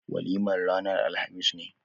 Walimar ranar alhamis ne.